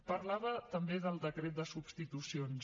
parlava també del decret de substitucions